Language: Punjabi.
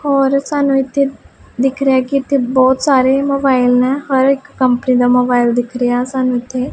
ਔਰ ਸਾਨੂੰ ਇੱਥੇ ਦਿਖ ਰਿਹਾ ਐ ਕਿ ਇੱਥੇ ਬਹੁਤ ਸਾਰੇ ਮੋਬਾਈਲ ਨੇ ਹਰ ਇੱਕ ਕੰਪਨੀ ਦਾ ਮੋਬਾਇਲ ਦਿਖ ਰਿਹਾ ਸਾਨੂੰ ਇੱਥੇ।